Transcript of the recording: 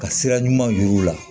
Ka sira ɲuman yir'u la